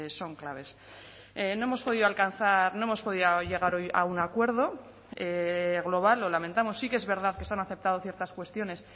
son claves no hemos podido alcanzar no hemos podido llegar hoy a un acuerdo global lo lamentamos sí que es verdad que se han aceptado ciertas cuestiones